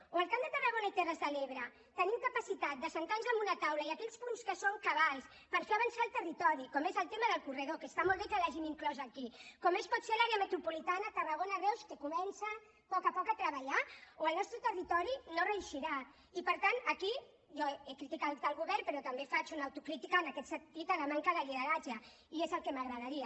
o el camp de tarragona i terres de l’ebre tenim capacitat d’asseure’ns en una taula i aquells punts que són cabdals per fer avançar el territori com és el tema del corredor que està molt bé que l’hagin inclòs aquí com pot ser l’àrea metropolitana tarragona reus que comença a poc a poc a treballar o el nostre territori no reeixirà i per tant aquí jo he criticat el govern però també faig una autocrítica en aquest sentit a la manca de lideratge i és el que m’agradaria